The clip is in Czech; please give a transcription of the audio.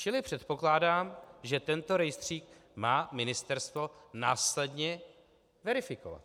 Čili předpokládám, že tento rejstřík má ministerstvo následně verifikovat.